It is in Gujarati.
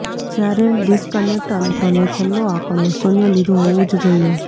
જ્યારે ડિસ્કનેક્ટ અનુક્રમે છેલ્લો આંકડો શૂન્ય લીધું હોવું જ જોઈએ